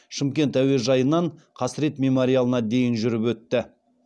шымкент әуежайынан қасірет мемориалына дейін жүріп өтті